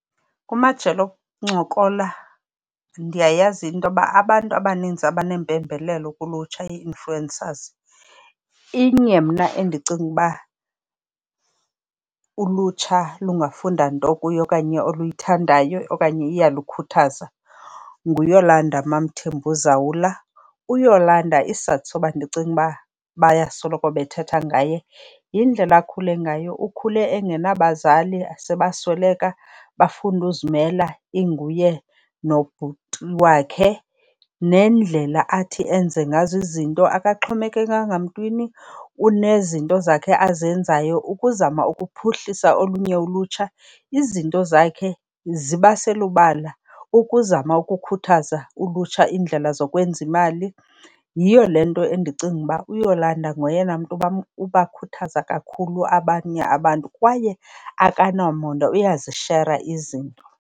Kumajelo okuncokola ndiyayazi into yoba abantu abaninzi abanempembelelo kulutsha, ii-influencers, inye mna endicinga ukuba ulutsha lungafunda nto kuyo okanye oluyithandayo okanye iyalukhuthaza, nguYolanda MaMthembu Zawula. UYolanda isizathu soba ndicinge uba bayasoloko bethetha ngaye yindlela akhule ngayo. Ukhule engenabazali, sebasweleka. Bafunda uzimela inguye nobhuti wakhe. Nendlela athi enze ngazo izinto, akaxhomekekanga mntwini, unezinto zakhe azenzayo ukuzama ukuphuhlisa olunye ulutsha. Izinto zakhe ziba selubala ukuzama ukukhuthaza ulutsha iindlela zokwenza imali. Yiyo le nto endicinga uba uYolanda ngoyena mntu ubakhuthaza kakhulu abanye abantu kwaye akanamona, uyazishera izinto.